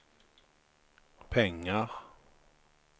pengar